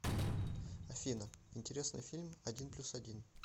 афина интересный фильм один плюс один